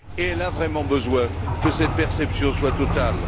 Et elle a vraiment besoin que cette perception soit totale.